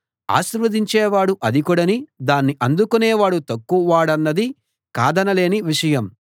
ఆశీర్వదించేవాడు అధికుడనీ దాన్ని అందుకునేవాడు తక్కువ వాడన్నది కాదనలేని విషయం